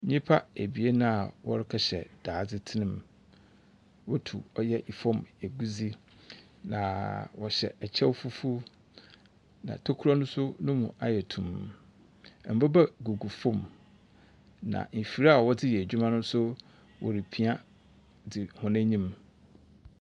Nyimpa ebien a wɔrekɛhyɛ daadzetsirmu, wotu ɔyɛ famu egudze, na wɔhyɛ kyɛw fufuw na tokura no so no mu ayɛ tumm, mbobaa gugu famu na efir a wɔdze yɛ edwuma no so, woripia dzi hɔn enyim.